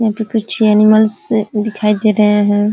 यहाँ पे कुछ एनिमल्स दिखाई दे रहे हैं।